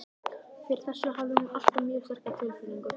Fyrir þessu hafði hún alltaf mjög sterka tilfinningu.